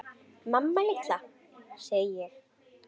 Mamma litla, sagði ég.